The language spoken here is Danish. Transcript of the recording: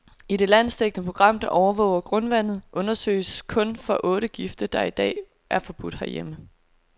I det landsdækkende program, der overvåger grundvandet, undersøges kun for otte gifte, der i dag er forbudt herhjemme.